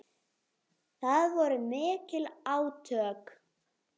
Það voru mikil átök.